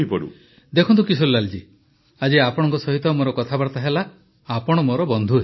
ପ୍ରଧାନମନ୍ତ୍ରୀ ଦେଖନ୍ତୁ କିଶୋରୀଲାଲ୍ ଜୀ ଆଜି ଆପଣଙ୍କ ସହିତ ମୋର କଥାବାର୍ତ୍ତା ହେଲା ଆପଣ ମୋର ବନ୍ଧୁ ହେଲେ